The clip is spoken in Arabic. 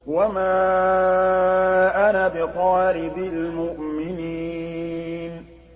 وَمَا أَنَا بِطَارِدِ الْمُؤْمِنِينَ